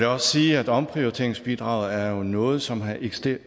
også sige at omprioriteringsbidraget jo er noget som har eksisteret